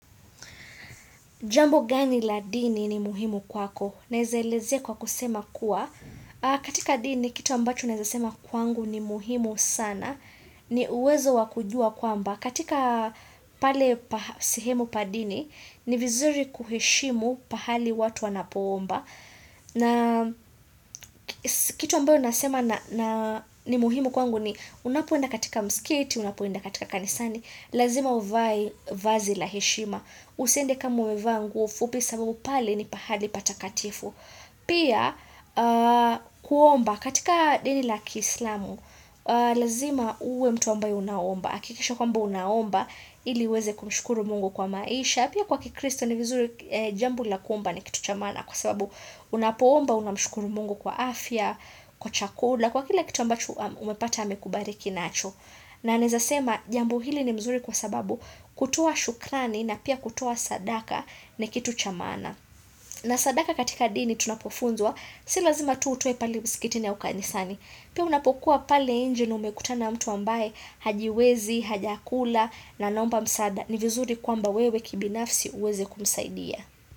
Jambo gani la dini ni muhimu kwako? Naezaelezea kwa kusema kuwa. Katika dini, kitu ambacho naeza sema kwangu ni muhimu sana. Ni uwezo wakujua kwamba. Katika pale pasehemu padini, ni vizuri kuheshimu pahali watu wanapoomba. Na kitu ambacho nasema na ni muhimu kwangu ni unapoenda katika mskati, unapoenda katika kanisani. Lazima uvai vazi la heshima. Usiende kama umevaa nguo fupi sababu pale ni pahali patakatifu Pia kuomba, katika dini laki islamu Lazima uwe mtu ambaye unaomba akikisha kwamba unaomba, ili uweze kumshukuru Mungu kwa maisha pia kwa kikristo ni vizuri jambo la kuomba ni kitu cha maana Kwa sababu unapoomba unamshukuru mungu kwa afya, kwa chakula Kwa kila kitu ambacho umepata amekubariki nacho na naezasema jambo hili ni mzuri kwa sababu kutoa shukrani na pia kutoa sadaka ni kitu cha maana na sadaka katika dini tunapofunzwa si lazima tu utoe pale musikitini ya ukanisani pia unapokuwa pale inje na umekutana mtu ambaye hajiwezi hajakula na anaomba msaada ni vizuri kwamba wewe kibinafsi uweze kumsaidia.